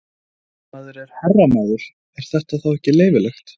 Ef maður er herramaður, er þetta þá ekki leyfilegt?